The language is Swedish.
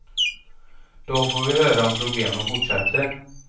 Då får vi höra om problemen fortsätter.